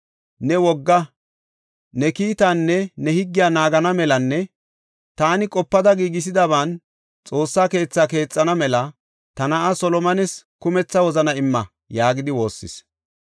Ne wogaa, ne kiitaanne ne higgiya naagana melanne taani qopada giigisadaban Xoossa keetha keexana mela ta na7aa Solomones kumetha wozana imma” yaagidi woossis.